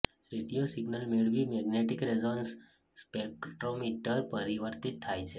radio signal મેળવી magnetic resonance spectrometer પરિવર્તિત થાય છે